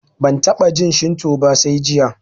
Ban taɓa jin shinto ba sai jiya